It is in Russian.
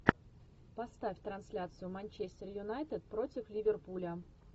поставь трансляцию манчестер юнайтед против ливерпуля